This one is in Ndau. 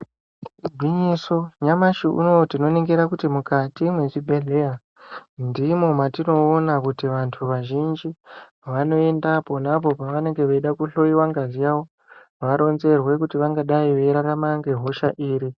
Igwinyiso nyamashi unoouyu tinoningira kuti mukati mezvibhedhlera ndimo matinoona kuti vantu vazhinji vanoenda apo neapo pavanenge veida kuhloyiwa ngazi yavo varonzerwe kuti vangadai veirarama ngehosha iri.